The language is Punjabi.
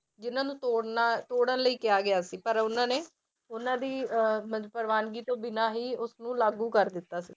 ਜਿਹਨਾਂ ਨੂੰ ਤੋੜਨਾ ਤੋੜਨ ਲਈ ਕਿਹਾ ਗਿਆ ਸੀ ਪਰ ਉਹਨਾਂ ਨੇ ਉਹਨਾਂ ਦੀ ਅਹ ਪ੍ਰਵਾਨਗੀ ਤੋਂ ਬਿਨਾਂ ਹੀ ਉਸ ਨੂੰ ਲਾਗੂ ਕਰ ਦਿੱਤਾ ਸੀ।